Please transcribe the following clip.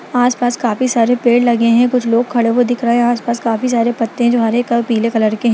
आस पास काफी सारे पेड़ लगे हैं कुछ लोग खड़े हुए दिख रहे हैं आस पास काफी सारे पत्ते है जो हरे और पीले कलर के हैं |